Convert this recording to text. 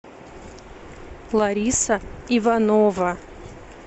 лариса иванова